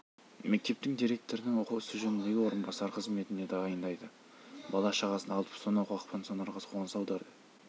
мектептің директорының оқу ісі жөніндегі орынбасары қызметіне тағайындайды бала-шағасын алып сонау қақпансорға қоныс аударады